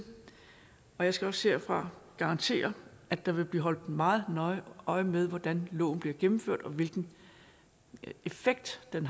og jeg skal også herfra garantere at der vil blive holdt meget nøje øje med hvordan loven bliver gennemført og hvilken effekt den